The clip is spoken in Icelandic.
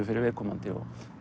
fyrir viðkomandi